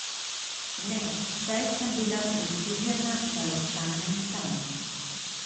Ne, saj sem bila prisiljena, da ostanem tam.